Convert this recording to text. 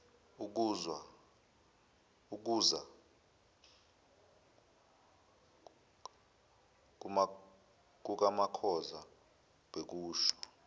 ukuza kukamakhoza bekusho